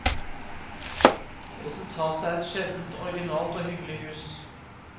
Resultatet er et sjeldent originalt og hyggelig hus.